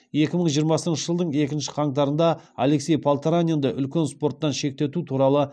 екі мың жиырмасыншы жылдың екінші қаңтарында алексей полторанинді үлкен спорттан шеттету туралы